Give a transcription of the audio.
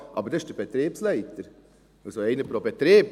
Aber das ist der Betriebsleiter, also einer pro Betrieb.